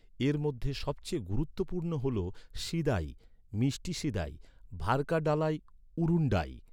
এর মধ্যে সবচেয়ে গুরুত্বপূর্ণ হল সীদাই, মিষ্টি সীদাই, ভার্কাডালাই উরুন্ডাই।